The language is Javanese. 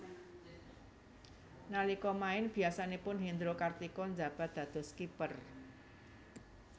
Nalika main biyasanipun Hendro Kartiko njabat dados Kiper